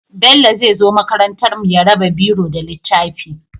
Bello zai zo makarantar mu ya raba biro da littafi